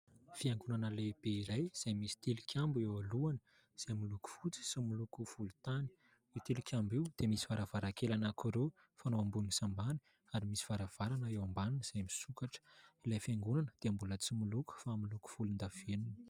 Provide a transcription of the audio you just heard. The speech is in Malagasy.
Fiangonana lehibe iray izay misy tilikambo eo alohany izay miloko fotsy sy miloko volontany. Io tilikambo io dia misy varavarankely anankiroa ambony sy ambany ary misy varavarana eo ambaniny izay misokatra, ilay fiangonana dia mbola tsy miloko fa miloko volondavenona.